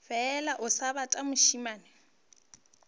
fela o sebata mošemane a